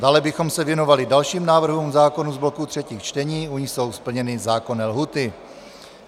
Dále bychom se věnovali dalším návrhům zákonů z bloku třetích čtení, u nichž jsou splněny zákonné lhůty.